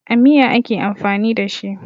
A miya ake amfani da shi.